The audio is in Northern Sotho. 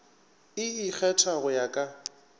e ikgetha go ya ka